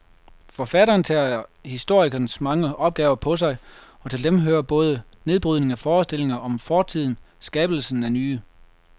Forfatteren tager historikerens mange opgaver på sig, og til dem hører både nedbrydningen af forestillinger om fortiden skabelsen af nye.